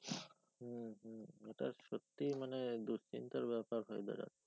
এটা সত্যি মানে দুশ্চিন্তের ব্যাপার হয়ে দাঁড়াচ্ছে।